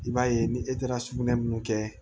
I b'a ye ni e taara sugunɛ mun kɛ